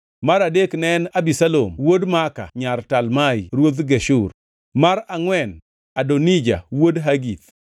mar adek ne en Abisalom wuod Maaka nyar Talmai ruodh Geshur, mar angʼwen, Adonija wuod Hagith;